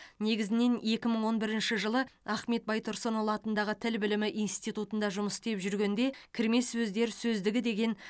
негізінен екі мың он бірінші жылы ахмет байтұрсынұлы атындағы тіл білімі институтында жұмыс істеп жүргенде кірме сөздер сөздігі деген